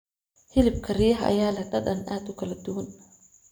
Hilibka riyaha ayaa leh dhadhan aad u kala duwan.